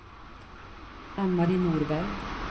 Ann-Mari Norberg